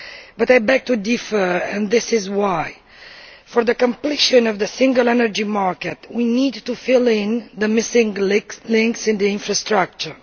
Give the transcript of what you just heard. But I beg to differ and this is why. For the completion of the single energy market we need to fill in the missing links in the infrastructure.